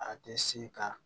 A tɛ se ka